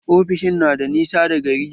Ofishin na da nisa da gari